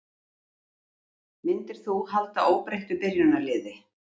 Myndir þú halda óbreyttu byrjunarliði?